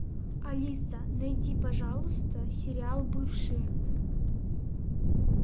алиса найди пожалуйста сериал бывшие